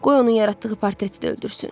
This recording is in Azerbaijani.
Qoy onun yaratdığı portreti də öldürsün.